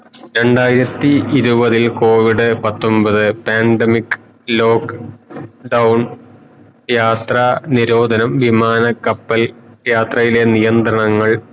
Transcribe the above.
രണ്ടായിരത്തി ഇരുവതിൽ covid പത്തൊമ്പതു pandemic lock down യാത്ര നിരോധനം വിമാന കപ്പൽ യാത്രയിലെ നിയന്ത്രണങ്ങൾ